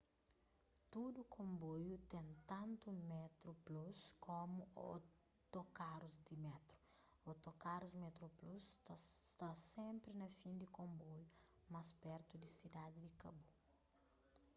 tudu konboiu ten tantu metroplus komu otokarus di métru otokarus metroplus ta sta senpri na fin di konboiu más pertu di sidadi di kabu